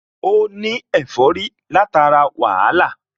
Ó ní ẹ̀fọ́rí látara wàhálà